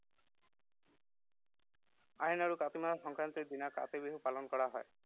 আহিন আৰু কাতি মাহৰ সংক্ৰান্তিৰ দিনা কাতি বিহু পালন কৰা হয়।